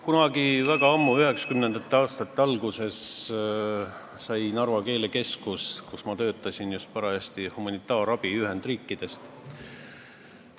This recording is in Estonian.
Kunagi väga ammu, 1990. aastate alguses sai Narva Keelekeskus, kus ma parajasti töötasin, humanitaarabi Ühendriikidest.